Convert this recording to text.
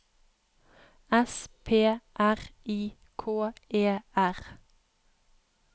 S P R I K E R